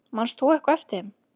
Manst þú eitthvað eftir þeim?